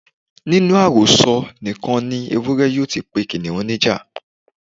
Nínú àròsọ nìkan ni Ewúré yóò ti pe Kìnnìún ní ìjà.